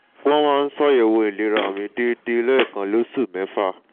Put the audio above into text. wọ́n máa ń ṣàyẹ̀wò ìlera mi déédéé lẹ́ẹ̀kan lóṣù mẹ́fà